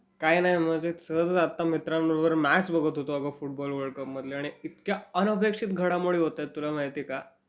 काही नाही.मजेत.सहजच आत्ता मित्रांबरोबर मॅच बघत होतो अगं फुटबॉल वर्ल्ड कपमधली. आणि इतक्या अनपेक्षित घडामोडी होतायत, तुला माहितीय का.